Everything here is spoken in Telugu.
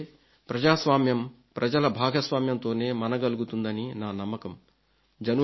ఎందుకంటే ప్రజాస్వామ్యం ప్రజల భాగస్వామ్యంతోనే మనగలుగుతుందని నా నమ్మకం